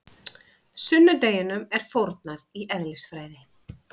Sunnudeginum er fórnað í eðlisfræði.